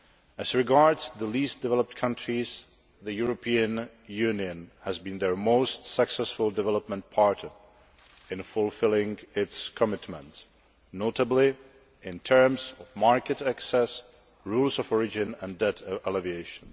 As regards the least developed countries, the European Union has been their most successful development partner in fulfilling its commitments, notably in terms of market access, rules of origin and debt alleviation.